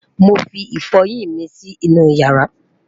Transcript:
mọ fí ifoyin yín mí Si inú yaara